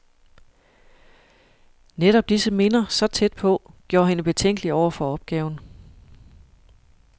Netop disse minder, så tæt på, gjorde hende betænkelig over for opgaven.